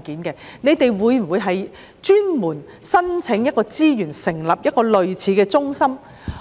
當局會否申請資源成立類似的中心，